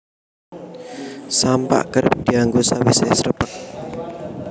Sampak kerep dianggo sawisé srepeg